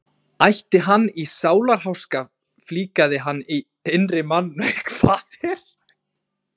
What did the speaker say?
Ætti hann í sálarháska flíkaði hann innri manni með því að snúa upp á yfirskeggið.